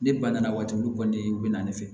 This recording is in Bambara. Ne ba nana waati mun olu kɔni u bɛ na ne fɛ